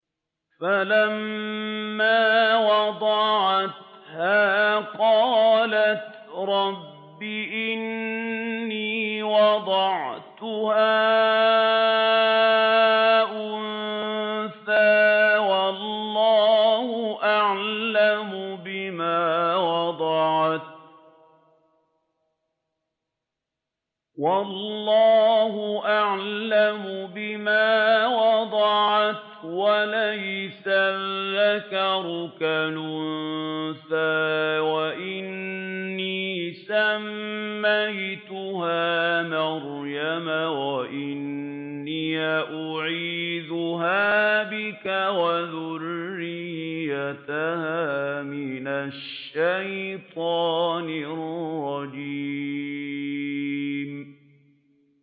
فَلَمَّا وَضَعَتْهَا قَالَتْ رَبِّ إِنِّي وَضَعْتُهَا أُنثَىٰ وَاللَّهُ أَعْلَمُ بِمَا وَضَعَتْ وَلَيْسَ الذَّكَرُ كَالْأُنثَىٰ ۖ وَإِنِّي سَمَّيْتُهَا مَرْيَمَ وَإِنِّي أُعِيذُهَا بِكَ وَذُرِّيَّتَهَا مِنَ الشَّيْطَانِ الرَّجِيمِ